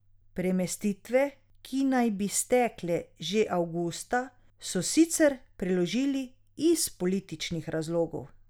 Premestitve, ki naj bi stekle že avgusta, so sicer preložili iz političnih razlogov.